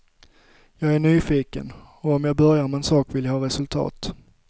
Jag är nyfiken, och om jag börjar med en sak vill jag ha resultat.